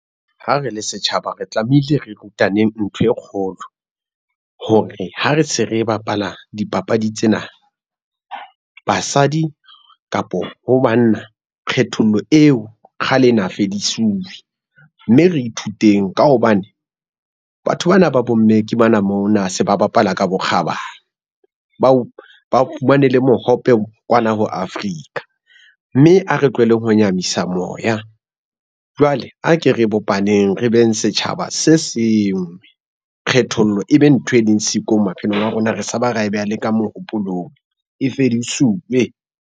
Ha re le setjhaba re tlamehile re rutaneng ntho e kgolo, hore ha re se re bapala dipapadi tsena, basadi kapa ho banna kgethollo eo kgale na fedisuwe, mme re ithuteng ka hobane, batho bana ba bomme ke bana mona se ba bapala ka bokgabane, ba fumane le mohope kwana ho Africa, mme ha re tlohelleng ho nyahamisa moya. Jwale a ke re bopaneng, re beng setjhaba se senngwe kgethollo ebe ntho e leng siko maphelong a rona re sa ba ra e beha le ka mohopolong e fedisuwe.